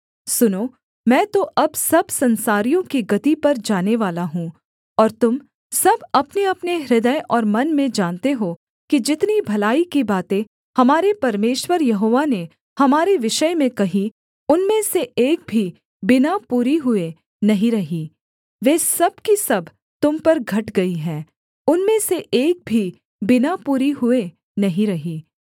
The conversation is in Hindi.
सुनो मैं तो अब सब संसारियों की गति पर जानेवाला हूँ और तुम सब अपनेअपने हृदय और मन में जानते हो कि जितनी भलाई की बातें हमारे परमेश्वर यहोवा ने हमारे विषय में कहीं उनमें से एक भी बिना पूरी हुए नहीं रही वे सब की सब तुम पर घट गई हैं उनमें से एक भी बिना पूरी हुए नहीं रही